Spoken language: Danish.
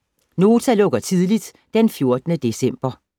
Nota lukker tidligt den 14. december